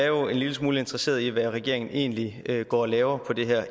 jo er en lille smule interesserede i hvad regeringen egentlig går og laver på det her